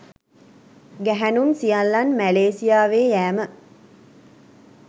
ගැහැණුන් සියල්ලන් මැලේසියාවේ යෑම